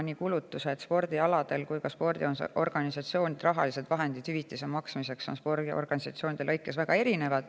Nii kulutused kui ka spordiorganisatsioonide rahalised vahendid hüvitise maksmiseks on spordialade lõikes väga erinevad.